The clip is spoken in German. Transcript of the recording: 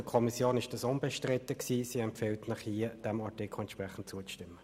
Für die Kommission war dies unbestritten, und sie empfiehlt Ihnen, dem Artikel zuzustimmen.